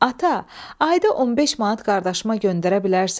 Ata, ayda 15 manat qardaşıma göndərə bilərsən?